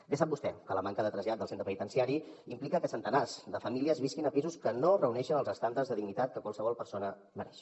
bé sap vostè que la manca de trasllat del centre penitenciari implica que centenars de famílies visquin a pisos que no reuneixen els estàndards de dignitat que qualsevol persona mereix